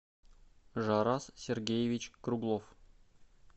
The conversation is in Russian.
жарас сергеевич круглов